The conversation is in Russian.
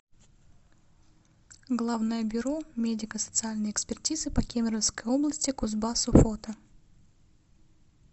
главное бюро медико социальной экспертизы по кемеровской области кузбассу фото